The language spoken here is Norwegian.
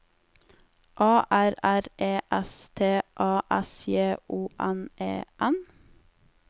A R R E S T A S J O N E N